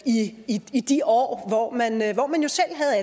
i i de år hvor man at